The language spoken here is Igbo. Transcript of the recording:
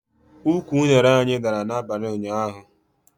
Ụkwụ unere anyị dara n'abalị ụnyaahụ